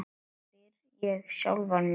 spyr ég sjálfan mig.